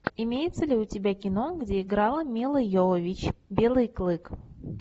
имеется ли у тебя кино где играла милла йовович белый клык